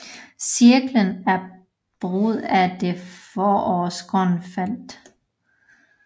Cirklen er brudt af det forårsgrønne felt